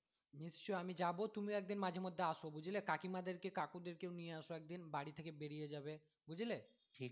নিশ্চয়ই আমি যাবো তুমিও একদিন মাঝে মধ্যে আসো বুঝলে কাকিমা দের কে কাকু দের কে নিয়ে আসো একদিন বাড়ি থেকে বেরিয়ে যাবে বুঝলে